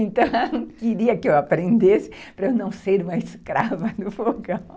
Então, ela queria que eu aprendesse para eu não ser uma escrava do fogão.